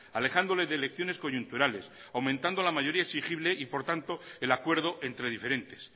alejándole de elecciones coyunturales aumentando la mayoría exigible y por tanto el acuerdo entre diferentes